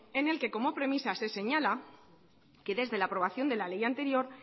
en el que como premisa se señala que desde la aprobación de la ley anterior